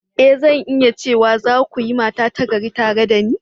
E! Zan iya cewa, za ku yi mata ta gari tare da ni.